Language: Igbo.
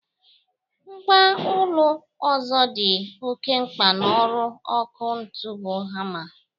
Mgwa ọlụ ọzọ dị oke mkpa n'ọrụ ọkụ ntụ bụ hama.